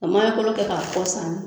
A maɲɔkolo kɛ k'a kɔ sanni